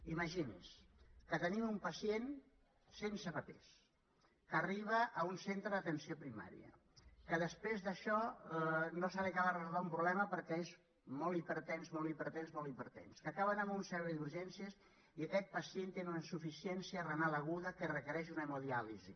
imagini’s que tenim un pacient sense papers que arriba a un centre d’atenció primària que després d’això no se li ha acabat de resoldre un problema perquè és molt hipertens molt hipertens que acaba anant a un servei d’urgències i aquest pacient té una insuficiència renal aguda que requereix una hemodiàlisi